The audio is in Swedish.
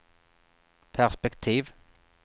perspektiv